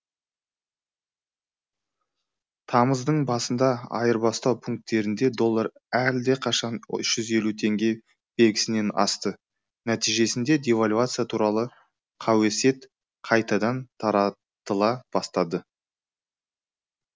тамыздың басында айырбастау пунктерінде доллар әлдеқашан үш жүз елу теңге белгісінен асты нәтижесінде девальвация туралы қауесет қайтадан таратыла бастады